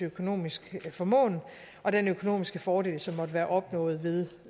økonomisk formåen og den økonomiske fordel som måtte være opnået ved